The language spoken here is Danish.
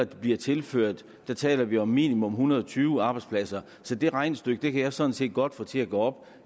der bliver tilført taler vi om minimum en hundrede og tyve arbejdspladser så det regnestykke kan jeg sådan set godt få til at gå op